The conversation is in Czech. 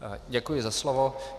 Děkuji za slovo.